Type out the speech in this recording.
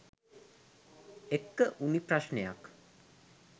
එක්ක වුණු ප්‍රශ්නයක්..